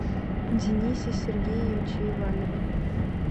денисе сергеевиче иванове